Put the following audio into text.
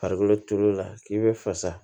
Farikolo turuli la k'i be fasa